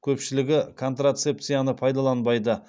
көпшілігі контрацепцияны пайдаланбайды